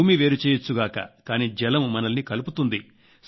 భూమి వేరు చేయొచ్చుగాక కానీ జలం మనల్ని కలుపుతుంది